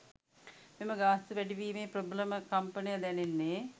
මෙම ගාස්තු වැඩිවීමේ ප්‍රබලම කම්පනය දැනෙන්නේ